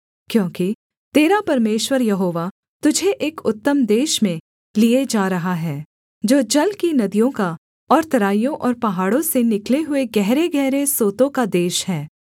क्योंकि तेरा परमेश्वर यहोवा तुझे एक उत्तम देश में लिये जा रहा है जो जल की नदियों का और तराइयों और पहाड़ों से निकले हुए गहरेगहरे सोतों का देश है